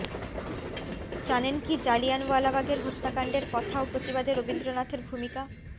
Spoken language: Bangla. জানেন কি জালিয়ানওয়ালবাগের হত্যাকাণ্ডের কথা ও প্রতিবাদে রবীন্দ্রনাথের ভূমিকা